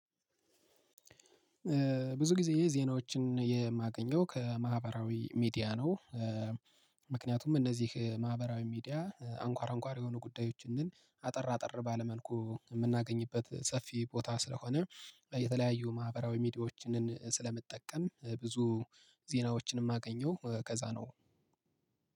ብዙ ጊዜ ዜናዎችን የማገኘው ከማህበራዊ ሚዲያ ነው። ምክንያቱም እነዚህ ማህበራዊ ሚዲያ አንኳራ አንኳር የሆኑ ጉዳዮችን አጠር አጠር ባለ መልኩ የምናገኝበት ሰፊ ቦታ ስለሆነ የተለያዩ ማህበራዊ ሚዲያዎችን ስለምጠቀም ብዙ ዜናዎችን የማገኘው ከዛ ነው።